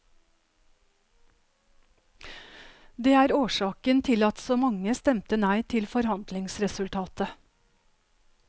Det er årsaken til at så mange stemte nei til forhandlingsresultatet.